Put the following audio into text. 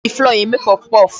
E ji flour eme puffpuff.